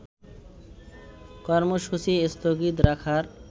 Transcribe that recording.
কর্মসূচী স্থগিত রাখার